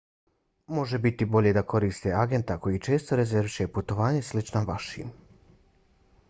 može biti bolje da koristite agenta koji često rezerviše putovanja slična vašim